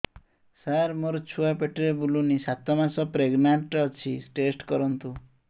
ସାର ମୋର ଛୁଆ ପେଟରେ ବୁଲୁନି ସାତ ମାସ ପ୍ରେଗନାଂଟ ଅଛି ଟେଷ୍ଟ କରନ୍ତୁ